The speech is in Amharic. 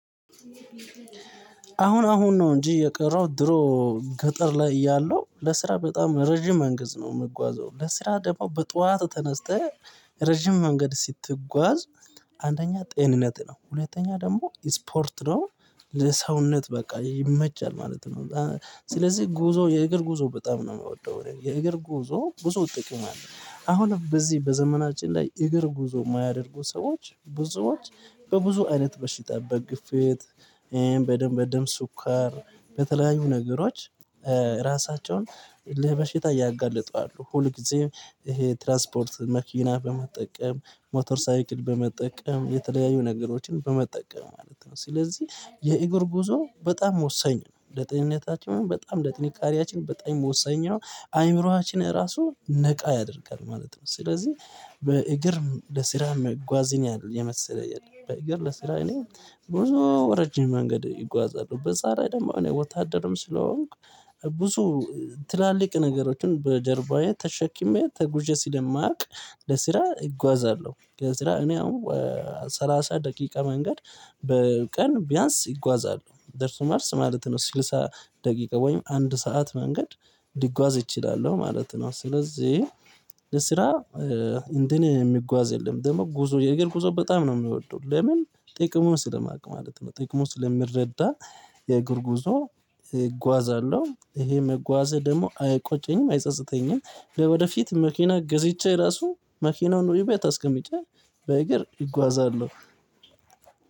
አሁን አሁን ነው እንጂ የቀረው ድሮ ገጠር ላይ እያለሁ ለስራ በጣም ረጅም መንገድ ነው የምጓዘው ለስራ ደግሞ በጧት ተነስተህ ረጅም መንገድ ስትጓዝ። አንደኛ ጤንነት ነው ሁለተኛ ደግሞ ስፖርት ነው ለሰውነት በቃ ይመቻል ማለት ነው። ስለዚህ ጉዞ የእግር ጉዞ በጣም ነው የማወደው የእግር ጉዞ ብዙጥቅም አለው አሁንም በዚህ በዘመናችን ላይ እግር ጉዞ የማያደርጉ ሰዎች ብዙዎች በብዙ አይነት በሽታ በግፌት። በደም በደም ሱካር በተለያዩ ነገሮች ራሳቸውን ለበሽታ ያጋለጡ አሉ። ሁልጊዜም ይሄ ትራንስፖርት መኪና በመጠቀም ሞተር ሳይክል በመጠቀም የተለያዩ ነገሮችን በመጠቀም ማለት ነው። ስለዚህ የእግር ጉዞ በጣም ወሳኝ ነው ለጤንነታችንም ምናምን በጣም ለጥንካሬያችን በጣም ወሳኝ ነው አይምሮአችን ራሱ ነቃ ያደርጋል ማለት ነው። ስለዚህ በእግር ለስራ መጓዝን ያህል የመሰለ የለም። በእግር ለስራ እኔ ብዙ ረጅም መንገድ ይጓዛሉ በዛላይ ደግሞ እኔ ወታደርም ስለሆንኩ ብዙ ትላልቅ ነገሮችን በጀርባዬ ተሸክሜ ተጉዤ ስለማቅ። ለስራ እጓዛለሁ ለስራ እኔ አሁን ሰላሳ ደቂቃ መንገድ በቀን ቢያንስ እጓዛለሁ ደርሶ መልስ ማለት ነው። ስልሳ ደቂቃ ወይም አንድ ሰዓት መንገድ ሊጓዝ እችላለሁ ማለት ነው። ስለዚህ ለስራ እንደኔ የሚጓዝ የለም። ደግሞ ጉዞ የእግር ጉዞ በጣም ነው የምወደው ለምን ጥቅሙን ስለማውቅ ማለት ነው። ጥቅሙን ስለምረዳ የእግር ጉዞ እጓዛለሁ ይሄ መጓዘ ደግሞ አይቆጨኝም አይጸጸተኝም። ወደፊት መኪና ገዝቼ ራሱ መኪናውን ወይ ቤት አስቀምጬ በእግር እጓዛለሁ።